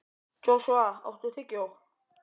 Joshua, áttu tyggjó?